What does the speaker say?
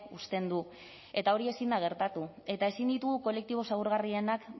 uzten du eta hori ezin da gertatu eta ezin ditugu kolektibo zaurgarrienak